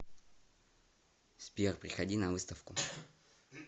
сбер приходи на выставку